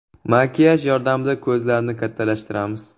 Makiyaj yordamida ko‘zlarni kattalashtiramiz.